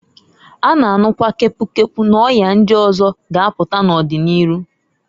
A na anukwa kepu kepu n'ọya ndi ọzọkwa ga apụta n'ọdi n'iru.